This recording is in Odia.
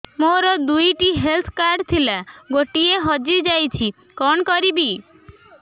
ମୋର ଦୁଇଟି ହେଲ୍ଥ କାର୍ଡ ଥିଲା ଗୋଟିଏ ହଜି ଯାଇଛି କଣ କରିବି